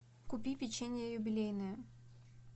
купи печенье юбилейное